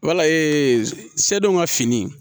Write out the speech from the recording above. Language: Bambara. Wala ee se dɔ ka fini